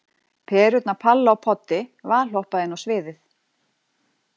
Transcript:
Perurnar Palla og Poddi valhoppa inn á sviðið.